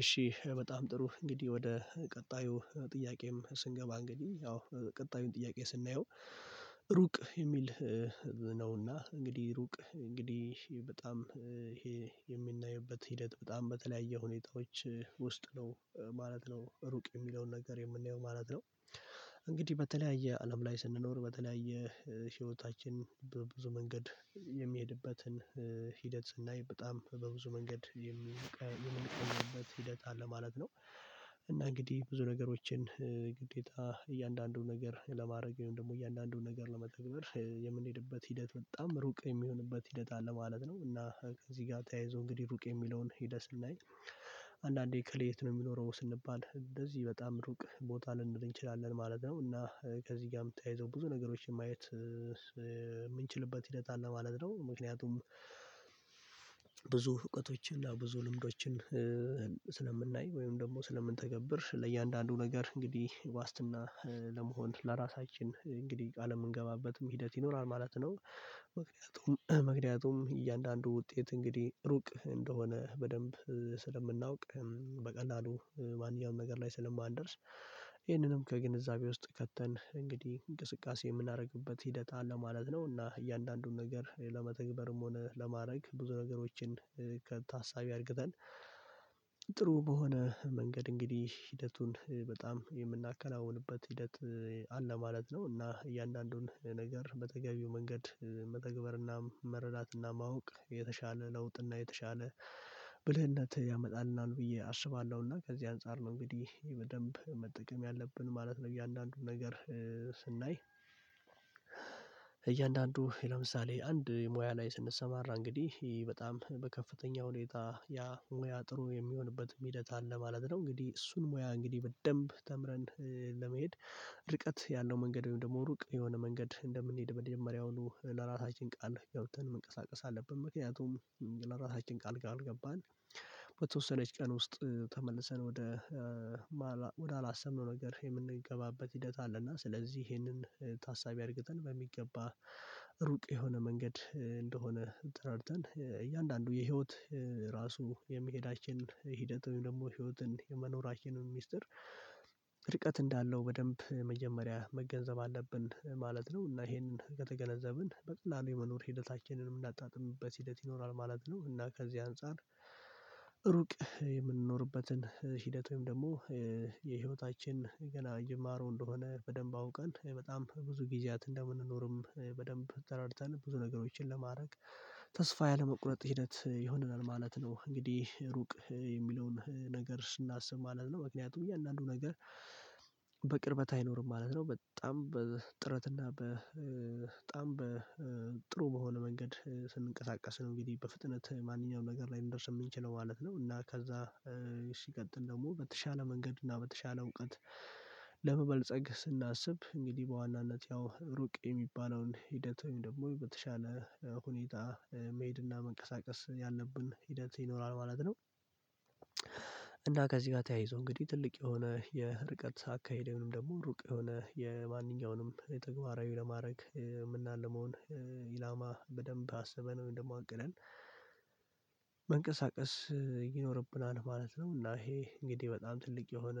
እሺ በጣም ጥሩ እንግዲህ ወደ ቀጣዩ ጥያቄም ስንገባ እንግዲህ ያው ቀጣዩን ጥያቄ ስናየው ሩቅ የሚል ነውና እንግዲህ ሩቅ እንግዲህ በጣም ይሄ የሚናይበት ሂደት በጣም በተለያየ ሁኔታዎች ውስጥ ነው ማለት ነው ሩቅ የሚለውን ነገር የምንየው ማለት ነው። እንግዲህ በተለያየ አለም ላይ ስንኖር በተለያየ ህይወታችን ብዙ መንገድ የሚሄድበትን ሂደት ስናይ በጣም በብዙ መንገድ የምንቀናበት ሂደት አለ ማለት ነው። እና እንግዲህ ብዙ ነገሮችን ግዴታ እያንዳንዱን ነገር ለማድረግ ወይም ደግሞ እያንዳንዱን ነገር ለመተግበር የምንሄድበት ሂደት በጣም ሩቅ የሚሆንበት ሂደት አለ ማለት ነው። እና ከዚህ ጋር ተያይዞ እንግዲህ ሩቅ የሚለውን ሂደት ስናይ አንዳንዴ እካለ የት ነው የሚኖረው ስንባል እንደዚህ በጣም ሩቅ ቦታ ልንል እንችላለን ማለት ነው። እና ከዚህ ጋር ታያይዘው ብዙ ነገሮችን ማየት የምንችልበት ሂደት አለ ማለት ነው። ምክንያቱም ብዙ እውቀቶችን ብዙ ልምዶችን ስለምናይ ወይም ደግሞ ስለምንተገብር ለእያንዳንዱ ነገር እንግዲህ ዋስትና ለመሆን ለራሳችን እንግዲህ ቃል የምንገባበትም ሂደት ይኖራል ማለት ነው። ምክንያቱም ምክንያቱም እያንዳንዱ ውጤት እንግዲህ ሩቅ እንደሆነ በደንብ ስለምናውቅ በቀላሉ ማንኛውም ነገር ላይ ስለማንደርስ ይህንንም ከግንዛቤ ውስጥ ከተን እንግዲህ እንቅስቃሴ የምናደርግበት ሂደት አለ ማለት ነው። እና እያንዳንዱን ነገር ለመተግበርም ሆነ ለማድረግ ብዙ ነገሮችን ከታሳቢ አርግተን ጥሩ በሆነ መንገድ እንግዲህ ሂደቱን በጣም የምናከናውንበት ሂደት አለ ማለት ነው። እና እያንዳንዱን ነገር በተገቢው መንገድ መተግበርና መረዳትና ማወቅ የተሻለ ለውጥና የተሻለ ብልህነት ያመጣልናል ብዬ አስባለሁና ከዚህ አንፃር ነው እንግዲህ በደንብ መጠቀም ያለብን ማለት ነው። እያንዳንዱን ነገር ስናይ እያንዳንዱ ለምሳሌ አንድ ሙያ ላይ ስንሰማራ እንግዲህ በጣም በከፍተኛ ሁኔታ ያ ሙያ ጥሩ የሚሆንበት ሂደት አለ ማለት ነው። እንግዲህ እሱን ሙያ እንግዲህ በደንብ ተምረን ለመሄድ ርቀት ያለው መንገድ ወይም ደግሞ ሩቅ የሆነ መንገድ እንደምንሄድ በመጀመሪያው ለራሳችን ቃል ገብተን መንቀሳቀስ አለብን። ምክንያቱም ለራሳችን ቃል ካልገባን በተወሰነች ቀን ውስጥ ተመልሰን ወደ ወደ አላሰብነው ነገር የምንገባበት ሂደት አለና ስለዚህ ይሄንን ታሳቢ አድርገን በሚገባ ሩቅ የሆነ መንገድ እንደሆነ ተራድተን እያንዳንዱ የህይወት ራሱ የመሄዳችን ሂደት ወይም ደግሞ ህይወትን የመኖራቸውን ሚስጥር ርቀት እንዳለው በደንብ መጀመሪያ መገንዘብ አለብን ማለት ነው። እና ይሄንን ከተገነዘብን በቀላሉ የመኖር ሂደታችንን የምናጣጥምበት ሂደት ይኖራል ማለት ነው። እና ከዚህ አንፃር ሩቅ የምንኖርበትን ሂደት ወይም ደግሞ የህይወታችን ገና ጅማሮ እንደሆነ በደንብ አውቀን በጣም ብዙ ጊዜያት እንደምንኖርም በደንብ ተራድተን ብዙ ነገሮችን ለማድረግ ተስፋ ያለመቁረጥ ሂደት ይሆነናል ማለት ነው። እንግዲህ ሩቅ የሚለውን ነገር ስናስብ ማለት ነው ምክንያቱም እያንዳንዱ ነገር በቅርበት አይኖርም ማለት ነው። በጣም በጥረት እና በጣም በጥሩ በሆነ መንገድ ስንቀሳቀስ ነው እንግዲህ በፍጥነት ማንኛውም ነገር ላይ ልንደርስ የምንችለው ማለት ነው። እና ከዛ ሲቀጥል ደግሞ በተሻለ መንገድ እና በተሻለ እውቀት ለመበልፀግ ስናስብ እንግዲህ በዋናነት ያው ሩቅ የሚባለውን ሂደት ወይም ደግሞ በተሻለ ሁኔታ መሄድና መንቀሳቀስ ያለብን ሂደት ይኖራል ማለት ነው። እና ከዚህ ጋር ተያይዞ እንግዲህ ትልቅ የሆነ የርቀት አካሄድ ወይም ደግሞ ሩቅ የሆነ የማንኛውንም የተግባራዊ ለማድረግ የምናልመውን ኢላማ በደንብ አስበን ወይም አቅደን መንቀሳቀስ ይኖርብናል ማለት ነው። እና ይሄ እንግዲህ በጣም ትልቅ የሆነ